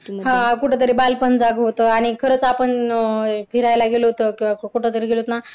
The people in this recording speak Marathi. हा कुठंतरी बालपण जाग होत आणि खरंच आपण फिरायला गेलो होतो तर कुठंतरी गेलोत ना